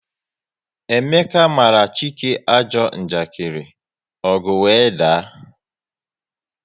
Emeka mara Chike ajọ njakiri, ọgu wee daa